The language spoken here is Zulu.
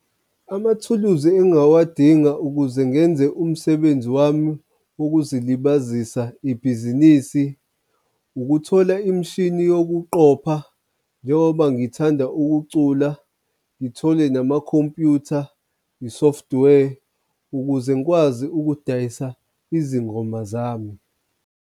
Amathuluzi engawadinga ukuze ngenze umsebenzi wami wokuzilibazisa ibhizinisi ukuthola imishini yokuqopha njengoba ngithanda ukucula, ngithole namakhompyutha, i-software ukuze ngikwazi ukudayisa izingoma zami.